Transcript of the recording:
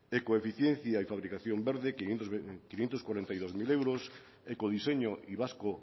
ecoeficiencia y fabricación verde quinientos cuarenta y dos mil euros ecodiseño y basque